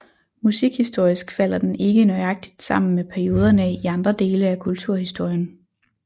Musikhistorisk falder den ikke nøjagtigt sammen med perioderne i andre dele af kulturhistorien